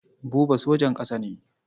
Buba sojan ƙasa ne.